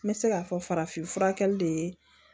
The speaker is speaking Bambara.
N bɛ se k'a fɔ farafin fura kɛli de ye